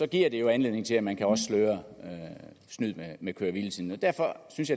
giver giver anledning til at man også kan sløre snyd med køre hvile tiden derfor synes